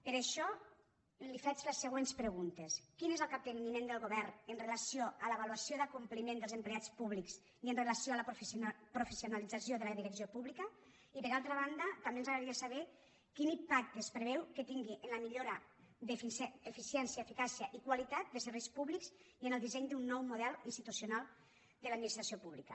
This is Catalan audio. per això li faig les següents preguntes quin és el capteniment del govern amb relació a l’avaluació de l’acompliment dels empleats públics i amb relació a la professionalització de la direcció pública i per altra banda també ens agradaria saber quin impacte es preveu que tingui en la millora d’eficiència eficàcia i qualitat de serveis públics i en el disseny d’un nou model institucional de l’administració pública